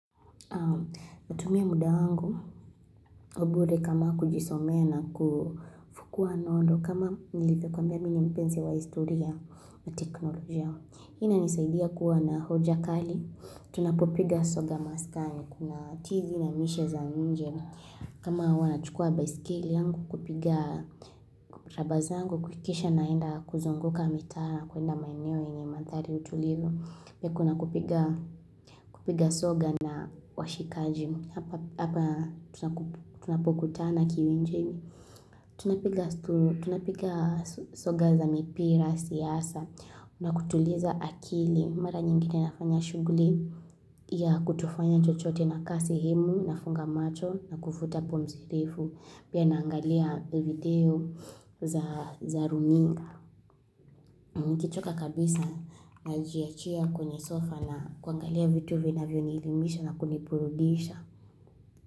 Natumia muda wangu wa bure kama kujisome na kufukua nondo kama nilifekwambia mini mpense wa historia na teknolojia. Hina nisaidia kuwa na hoja kali. Tunapopiga soga maskani. Kuna tizi na mishe za nje. Kama huwa nachukua baisikili angu kupiga raba zangu kukisha naenda kuzunguka mitaa kuenda maeneo enye mantari utulivu. Ya kuna kupiga soga na washikaji. Hapa tunapokutana kiwinje. Tunapiga soga za mipira siasa. Na kutuliza akili. Mara nyingine nafanya shuguli ya kutofanya chochote naka sehemu nafunga macho na kufuta pumzi ndefu. Pia naangalia video za ruminga. Nikitoka kabisa najiachia kwenye sofa na kuangalia vitu vinavyonielimisha na kuniburudisha.